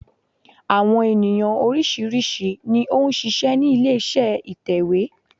Àwọn ènìyàn oríṣìíríṣìí ni ó n ṣiṣẹ́ ní ilé iṣẹ́ ìtẹ̀wé